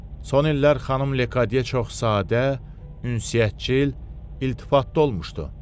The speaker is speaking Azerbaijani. Son illər xanım Lekadiyə çox sadə, ünsiyyətcil, iltifatlı olmuşdu.